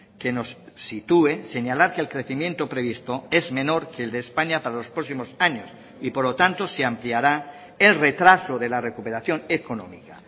que nos sitúe señalar que el crecimiento previsto es menor que el de españa para los próximos años y por lo tanto se ampliará el retraso de la recuperación económica